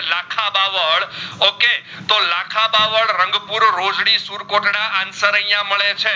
Rangpur Rojdi Surkotada answer અહિયાં મડે છે